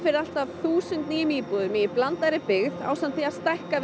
allt að þúsund nýjum íbúðum í blandaðri byggð ásamt því að stækka